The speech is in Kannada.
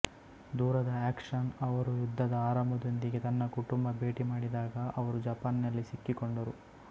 ದೂರದ ಆಕ್ಷನ್ಅವರು ಯುದ್ಧದ ಆರಂಭದೊಂದಿಗೆ ತನ್ನ ಕುಟುಂಬ ಭೇಟಿ ಮಾಡಿದಾಗ ಅವರು ಜಪಾನ್ ನಲ್ಲಿ ಸಿಕ್ಕಿಕೊಂಡರು